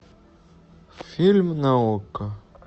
фильм на окко